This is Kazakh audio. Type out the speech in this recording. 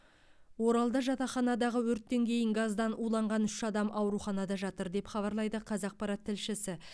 оралда жатақханадағы өрттен кейін газдан уланған үш адам ауруханада жатыр деп хабарлайды қазақпарат тілшісі